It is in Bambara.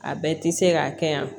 A bɛɛ ti se ka kɛ yan